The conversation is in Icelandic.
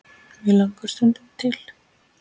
mig langar stundum til.